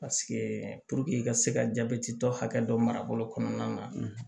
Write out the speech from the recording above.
i ka se ka jabɛti tɔ hakɛ dɔ marabolo kɔnɔna na